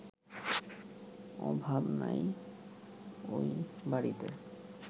অভাব নাই ওই বাড়িতে